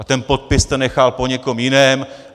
A ten podpis jste nechal na někoho jiného.